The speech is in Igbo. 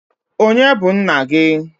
Onye bu nna gi?